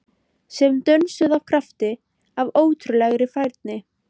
Sem dönsuðu af krafti- af ótrúlegri færni